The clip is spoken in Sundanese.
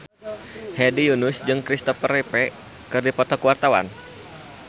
Hedi Yunus jeung Kristopher Reeve keur dipoto ku wartawan